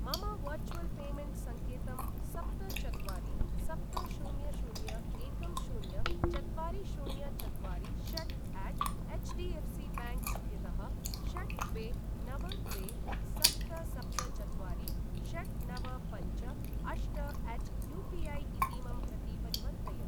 मम virtual payment संकेतं सप्त चत्वारि सप्त शून्य शून्य एकं शून्य चत्वारि शून्य चत्वारि षट्अट एचडीएफसीबैंक इत्यतः षट् द्वे नव द्वे सप्त सप्त चत्वारि षट् नव पञ्च अष्टअट यूपीऐ इतीमं प्रति परिवर्तय।